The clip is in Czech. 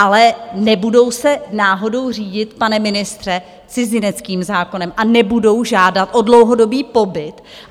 Ale nebudou se náhodou řídit, pane ministře, cizineckým zákonem a nebudou žádat o dlouhodobý pobyt?